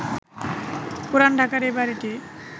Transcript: পুরান ঢাকার এ বাড়িটি